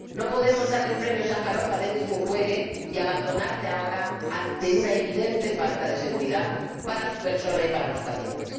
No podemos dar el Premio Sájarov a Denis Mukwege y abandonarle ahora ante una evidente falta de seguridad para su persona y para los pacientes.